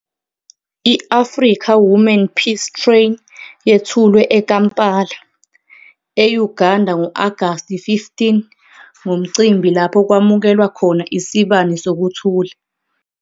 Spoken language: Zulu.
I-Africa Women Peace Train yethulwe eKampala, e-Uganda ngo-Agasti 15 ngomcimbi lapho kwamukelwa khona iSibani Sokuthula.